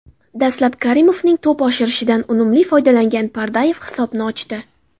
Dastlab Karimovning to‘p oshirishidan unumli foydalangan Pardayev hisobni ochdi.